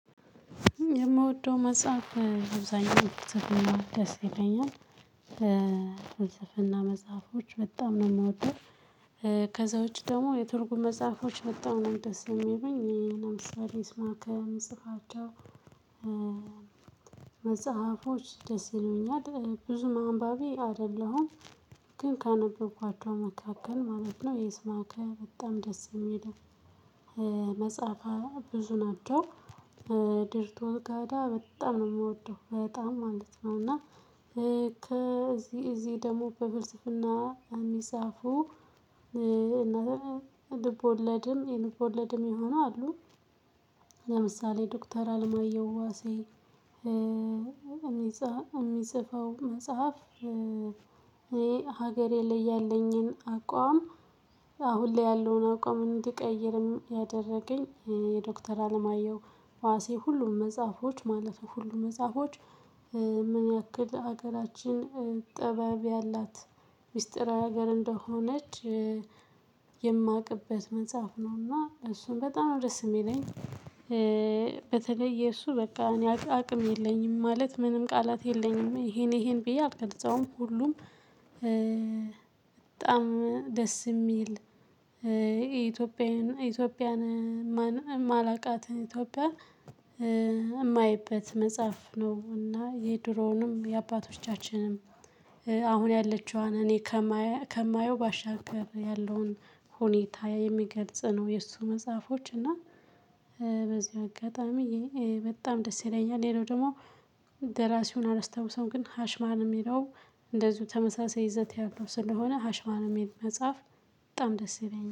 የምወደው መጽሐፍ አብዛኛው ደስ ይለኛል። በስንፍና መጽሐፎች በጣም ነው የምወደው። ከዛ ውጪ ደግሞ የትርጉም መጽሐፎች በጣም ነው ደስ የሚለኝ ለምሳሌ ስማከም ጽፋቸው። መጽሐፎች ደስ ይለኛል ብዙ ማንባቢ አይደለሁም። ግን ካነበብኳቸው መካከል ማለት ነው የስማከ በጣም ደስ የሚለው። መጽሐፍ ብዙ ናቸው። ድርቶር ጋዳ በጣም ነው የምወደው በጣም ማለት ነው። እና ከዚህ እዚህ ደግሞ በፍልስፍና በሚጻፉ እናትም ልቦለድም የልቦለድም የሆነ አሉ። ለምሳሌ ዶክተር አልማየው ዋሴ የሚጽፈው መጽሐፍ። ይሄ ሀገሬ ላይ ያለኝን አቋም። አሁን ላይ ያለውን አቋም እንድቀይርም ያደረገኝ የዶክተር አለማየሁ ዋሴ ሁሉም መጽሐፎች ማለት ነው ሁሉም መጽሐፎች። ምን ያክል ሀገራችን ጥባብ ያላት ሚስጥራዊ ሀገር እንደሆነች የማውቅበት መጽሐፍ ነውና እሱን በጣም ደስ የሚለኝ። በተለይ የእሱ በቃ እኔ አቅም የለኝም ማለት ምንም ቃላት የለኝም ይሄኔ ይሄን ብዬ አልገልጸውም ሁሉም። በጣም ደስ የሚል ኢትዮጵያዊ ኢትዮጵያን የማላውቃት ኢትዮጵያን የማይበት መጽሐፍ ነው። እና የድሮውንም የአባቶቻችንም አሁን ያለችዋን እኔ ከማየው ባሻገር ያለውን ሁኔታ የሚገልጽ ነው። የእሱ መጽሐፎች እና በዚህ አጋጣሚ በጣም ደስ ይለኛል። ሌላው ደግሞ ደራሲውን አላስታውሰውም ግን ሀሽማል የሚለው እንደዚሁ ተመሳሳይ ይዘት ያለው ስለሆነ ሀሽማል የሚል መጽሐፍ በጣም ደስ ይለኛል